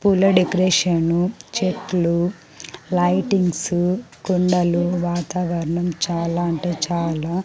పూల డెకరేషను చెట్లు లైటింగ్సు కొండలు వాతావరణం చాలా అంటే చాలా --